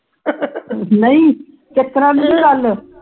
ਏਤਰਾਂ ਦੀ ਨਹੀਂ ਗੱਲ